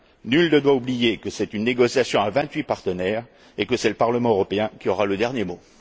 Nul ne doit oublier que c'est une négociation à vingt huit partenaires et que c'est le Parlement européen qui aura le dernier mot.